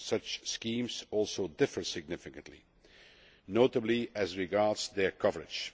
Such schemes also differ significantly, notably as regards their coverage.